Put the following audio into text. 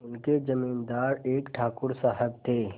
उनके जमींदार एक ठाकुर साहब थे